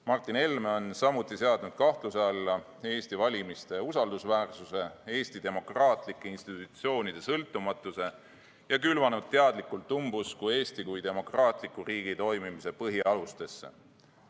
Martin Helme on samuti seadnud kahtluse alla Eesti valimiste usaldusväärsuse ja Eesti demokraatlike institutsioonide sõltumatuse ning külvanud teadlikult umbusku Eesti kui demokraatliku riigi toimimise põhialustesse.